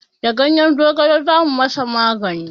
Da ganyen zogale za mu ma sa magani